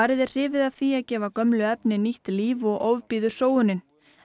eru hrifin af því að gefa gömlum efni nýtt líf og ofbýður sóunin